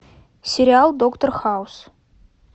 сериал доктор хаус